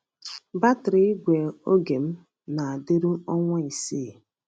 Batrị igwe oge m na-adịru ọnwa isii.